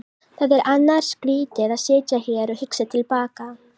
Það er annars skrýtið að sitja hér og hugsa til baka.